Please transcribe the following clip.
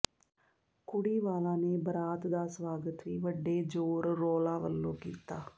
ਕੁੜੀ ਵਾਲਾਂ ਨੇ ਬਰਾਤ ਦਾ ਸਵਾਗਤ ਵੀ ਵੱਡੇ ਜ਼ੋਰ ਰੌਲਾ ਵਲੋਂ ਕੀਤਾ